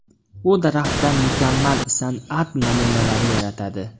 U daraxtdan mukammal san’at namunalari yaratadi.